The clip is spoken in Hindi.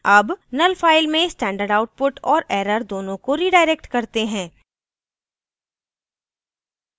अब null file में standard output और error दोनों को redirect करते हैं